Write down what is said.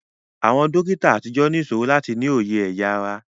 Àwọn dókítà àtijọ́ ní ìṣòro láti ní òye ẹ̀ya ara